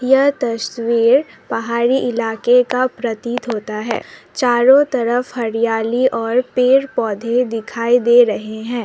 यह तस्वीर पहाड़ी इलाके का प्रतीत होता है चारों तरफ हरियाली और पेड़ पौधे दिखाई दे रहे हैं।